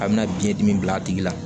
A bɛna biɲɛdimi bila a tigi la